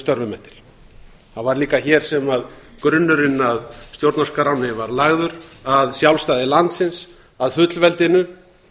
störfum eftir það var líka hér sem grunnurinn að stjórnarskrána var lagður að sjálfstæði landsins að fullveldinu